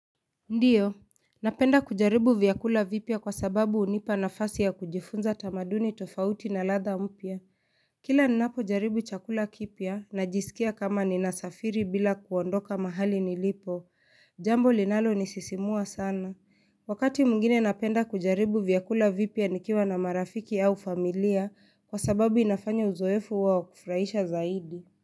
Ndiyo, napenda kujaribu vyakula vipya kwa sababu unipa nafasi ya kujifunza tamaduni tofauti na ladha mpya. Kila ninapo jaribu chakula kipya na jisikia kama ninasafiri bila kuondoka mahali nilipo. Jambo linalo nisisimua sana. Wakati mwingine napenda kujaribu vyakula vipya nikiwa na marafiki au familia kwa sababu inafanya uzoefu wao kufraisha zaidi.